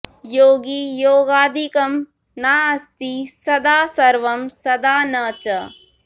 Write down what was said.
योगी योगादिकं नास्ति सदा सर्वं सदा न च